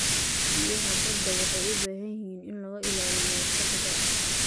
Biyaha badda waxay u baahan yihiin in laga ilaaliyo wasakhda.